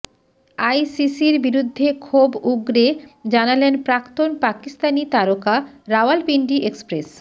আইসিসির বিরুদ্ধে ক্ষোভ উগরে জানালেন প্রাক্তন পাকিস্তানি তারকা রাওয়ালপিন্ডি এক্সপ্রেস